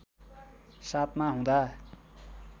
७ मा हुँदा